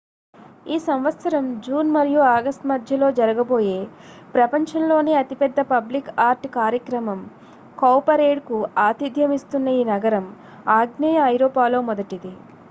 ఈ సంవత్సరం జూన్ మరియు ఆగస్టు మధ్యలో జరగబోయే ప్రపంచంలోనే అతిపెద్ద పబ్లిక్ ఆర్ట్ కార్యక్రమం కౌపరేడ్ కు ఆతిథ్యం ఇస్తున్న ఈ నగరం ఆగ్నేయ ఐరోపాలో మొదటిది